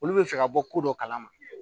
Olu bɛ fɛ ka bɔ ko dɔ kalama